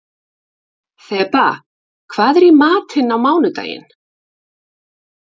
Þeba, hvað er í matinn á mánudaginn?